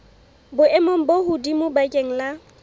boemong bo hodimo bakeng la